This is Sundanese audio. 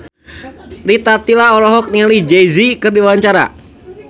Rita Tila olohok ningali Jay Z keur diwawancara